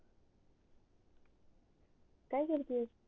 काय करते